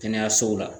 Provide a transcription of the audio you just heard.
Kɛnɛyasow la